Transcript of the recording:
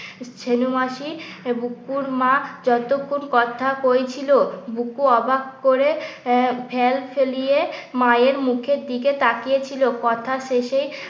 ছেনু মাসি বুকুর মা যতক্ষণ কথা কইছিল। বুকু অবাক করে আহ ফেল ফেলিয়ে মায়ের মুখের দিকে তাকিয়ে ছিল কথা শেষে